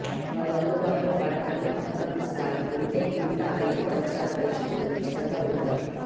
వారు అందుబాటులో పడకలు ఆక్రమిస్తాయి ఉంటే కింద ఐదు సంవత్సరాల వయస్సు పిల్లలు ఉచితంగా ఉండగలరు